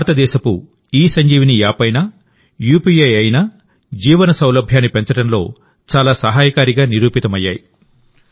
భారతదేశం ఇసంజీవని యాప్ అయినా యూపీఐ అయినాజీవన సౌలభ్యాన్ని పెంచడంలో చాలా సహాయకారిగా నిరూపితమయ్యాయి